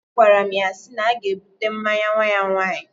Agwaram ya si na aga ebute mmanya nwa ya nwaanyi